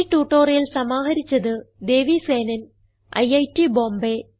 ഈ ട്യൂട്ടോറിയൽ സമാഹരിച്ചത് ദേവി സേനൻ ഐറ്റ് ബോംബേ